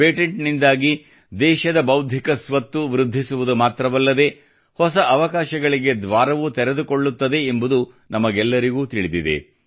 patent ನಿಂದಾಗಿ ದೇಶದ ಬೌದ್ಧಿಕ ಸ್ವತ್ತು ವೃದ್ಧಿಸುವುದು ಮಾತ್ರವಲ್ಲದೆ ಹೊಸ ಅವಕಾಶಗಳಿಗೆ ದ್ವಾರವೂ ತೆರೆದುಕೊಳ್ಳುತ್ತದೆ ಎಂಬುದು ನಮಗೆಲ್ಲರಿಗೂ ತಿಳಿದಿದೆ